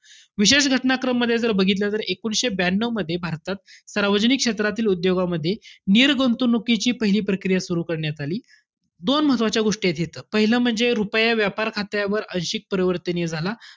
विशेष घटना क्रममध्ये जर बघितलं, तर एकोणवीसशे ब्यानऊ मध्ये, भारतात सार्वजनिक क्षेत्रातील उद्योगामध्ये, निर्गुतवणुकीची पहिली प्रक्रिया सुरु करण्यात आली. दोन महत्वाच्या गोष्टी आहेत इथं, पाहिलं म्हणजे रुपया व्यापार खात्यावर आंशिक परिवर्तनीय झाला.